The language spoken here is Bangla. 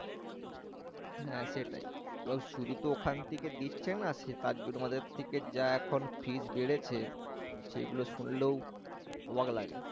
হ্যাঁ সেটাই এবং শুধু তো ওখান থেকে দিচ্ছে না তার জন্য আমাদের থেকে যা এখন fees বেড়েছে সেগুলো শুনলেও অবাক লাগে